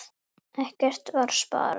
Ekkert var sparað.